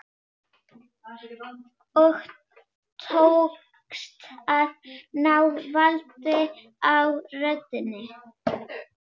Og tókst að ná valdi á röddinni.